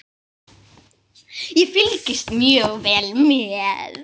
Ég fylgist mjög vel með.